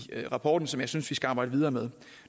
rapporten som jeg synes vi skal arbejde videre med